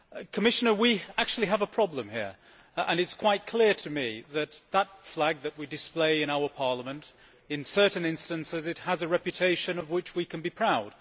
Commissioner, we actually have a problem here and it is quite clear to me that the flag that we display in our Parliament in certain instances has a reputation of which we can be proud.